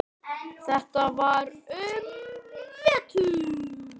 Þetta var um vetur.